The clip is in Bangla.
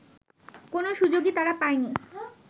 কোনো সুযোগই তারা পায়নি